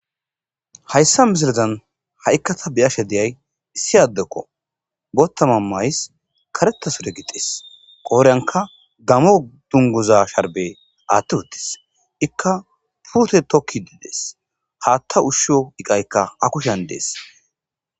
Hayssa misilezan ha'ikka ta beyashe deyay issi addekko bottama mays karetasure gixis qooreyanka gamo dunguza sharbe aatti uttis ikka puute tokki diidees haatta ushsho iqaykka akushan dees.